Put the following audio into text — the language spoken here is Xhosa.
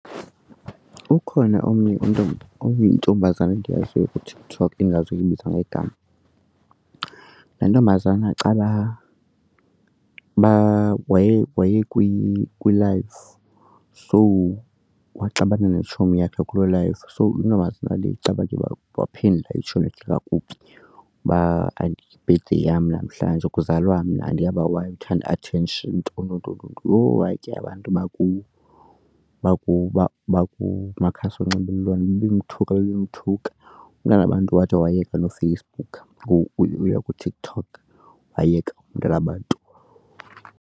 Ukhona omnye umntwana oyintombazana endiyaziyo kuTikTok ke ingazuyibamba ngegama. Laa ntombazana caba waye waye kwi-live so waxabana netshomi yakhe kulo live. So le ntombazana vaba bakho waphendula itshomi kakubi uba hayi yi-birthday yam namhlanje kuzalwa mna andiyazi uba why uthanda i-attention nton nton ntoni. Yho! Hayi ke abantu bakumakumakhasi onxibelelwano bemthuka bemthuka umntanabantu wide wayeka noFacebook kuTikTok wayeka umntanabantu.